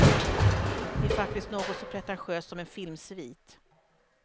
Det är faktiskt något så pretentiöst som en filmsvit.